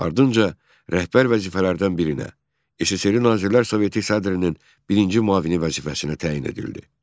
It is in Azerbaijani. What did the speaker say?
Ardınca rəhbər vəzifələrdən birinə, SSRİ Nazirlər Soveti sədrinin birinci müavini vəzifəsinə təyin edildi.